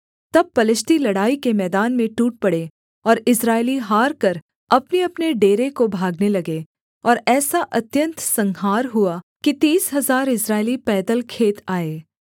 तब पलिश्ती लड़ाई के मैदान में टूट पड़े और इस्राएली हारकर अपनेअपने डेरे को भागने लगे और ऐसा अत्यन्त संहार हुआ कि तीस हजार इस्राएली पैदल खेत आए